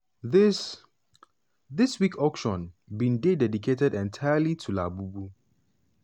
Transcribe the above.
dis dis week auction bin dey dedicated entirely to labubu.